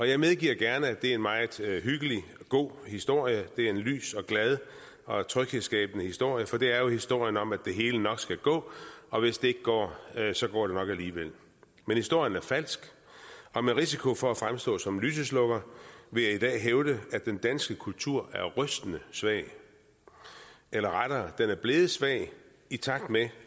jeg medgiver gerne at det er en meget hyggelig og god historie det er en lys og glad og tryghedsskabende historie for det er jo historien om at det hele nok skal gå og hvis det ikke går så går det nok alligevel men historien er falsk og med risiko for at fremstå som lyseslukker vil jeg i dag hævde at den danske kultur er rystende svag eller rettere den er blevet svag i takt med